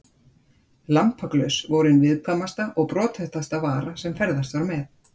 Lampaglös voru ein viðkvæmasta og brothættasta vara sem ferðast var með.